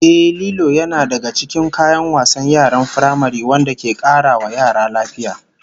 Ehh, Lilo yana daga cikin kayan wasan yaran firamare wanda ke kara wa yara lafiya